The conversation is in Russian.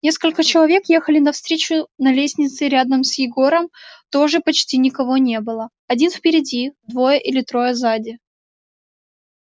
несколько человек ехали навстречу на лестнице рядом с егором тоже почти никого не было один впереди двое или трое сзади